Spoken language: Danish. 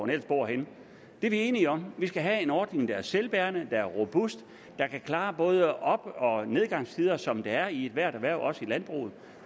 ellers bor henne det er vi enige om vi skal have en ordning der er selvbærende der er robust der kan klare op og nedgangstider som der er i ethvert erhverv også i landbruget